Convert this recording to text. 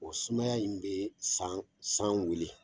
O sumaya in bɛ san san weele.